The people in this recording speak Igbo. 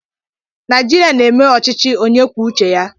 Naijiria na-eme ọchịchị onye kwuo uche ya